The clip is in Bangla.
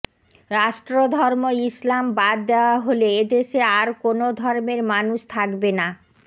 রাষ্ট্রধর্ম ইসলাম বাদ দেয়া হলে এদেশে আর কোন ধর্মের মানুষ থাকবে না